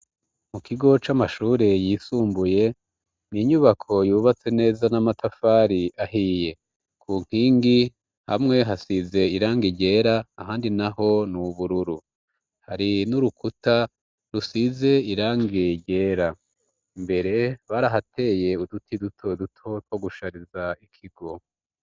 Mu kigo c'amashure yisumbuye ni inyubako yubatse neza n'amatafari ahiye ku nkingi hamwe hasize iranga iryera ahandi na ho ni'ubururu hari n'urukuta rusize irange iryera mbere bariahateye uduti duto dutotwo gushariza ikigo.